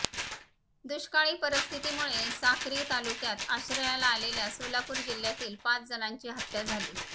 दुष्काळी परिस्थितीमुळे साक्री तालुक्यात आश्रयाला आलेल्या सोलापूर जिह्यातील पाच जणांची हत्या झाली